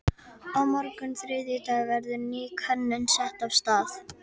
Á morgun þriðjudag verður ný könnun sett af stað.